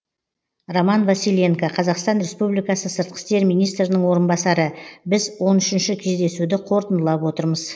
роман василенко қазақстан республикасы сыртқы істер министрінің орынбасары біз он үшінші кездесуді қорытындылап отырмыз